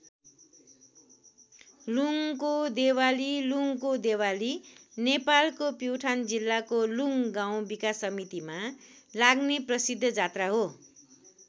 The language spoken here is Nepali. लुङको देवाली लुङको देवाली नेपालको प्युठान जिल्लाको लुङ गाउँ विकास समितिमा लाग्ने प्रसिद्ध जात्रा हो।